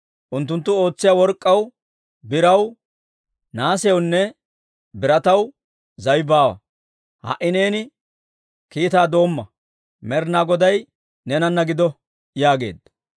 Unttunttu ootsiyaa work'k'aw, biraw, nahaasiyawunne birataw zaway baawa. Ha"i neeni kiitaa doomma. Med'inaa Goday neenana gido» yaageedda.